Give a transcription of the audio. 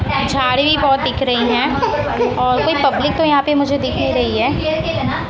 झाड़ भी बहोत दिख रहीं हैं और कोई पब्लिक तो यहां पे मुझे दिख ही रही है।